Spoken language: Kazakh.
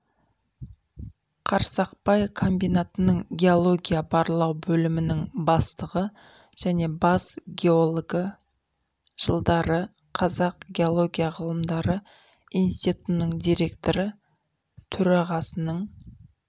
қарсақпай комбинатының геология-барлау бөлімінің бастығы және бас геологі жылдары қазақ геология ғылымдары институтының директоры төрағасының